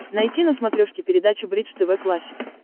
найти на смотрешке передачу бридж тв классик